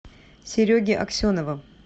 сереги аксенова